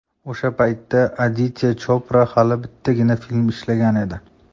O‘sha paytda Aditya Chopra hali bittagina film ishlagan edi.